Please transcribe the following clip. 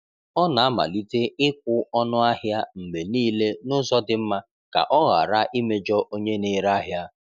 Ọ na-amalite ịkwụ ọnụ ahịa mgbe niile n’ụzọ dị mma ka ọ ghara imejọ onye na-ere ahịa.